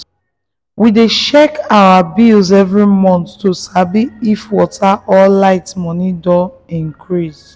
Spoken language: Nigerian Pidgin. we dey check our bills every month to sabi if water or light money don increase.